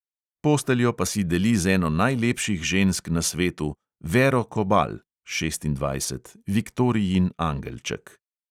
Posteljo pa si deli z eno najlepših žensk na svetu, vero kobal viktorijin angelček.